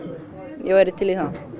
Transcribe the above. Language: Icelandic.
ég væri til í það